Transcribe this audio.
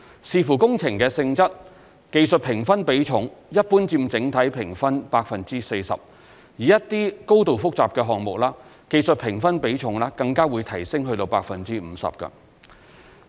視乎工程的性質，技術評分比重一般佔整體評分 40%； 而一些高度複雜的項目，技術評分比重更會提升至 50%。